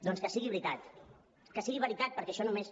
doncs que sigui veritat que sigui veritat perquè això només